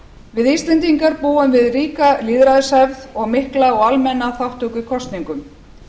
við íslendingar búum við ríka lýðræðishefð og mikla og almenna þátttöku í kosningum